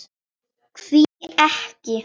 Hví ekki.